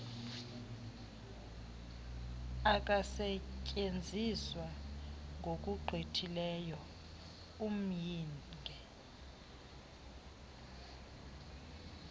akasetyenziswa ngokugqithileyo umyinge